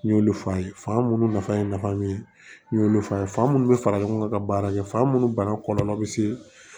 N y'olu f'a ye fa minnu nafa ye nafa min ye n y'olu f'a ye fa minnu bɛ fara ɲɔgɔn kan ka baara kɛ fa minnu banna kɔlɔlɔ bɛ se